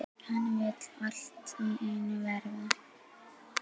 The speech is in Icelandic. Hann vill allt í einu verða